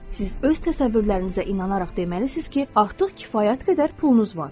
Siz öz təsəvvürlərinizə inanaraq deməlisiniz ki, artıq kifayət qədər pulunuz var.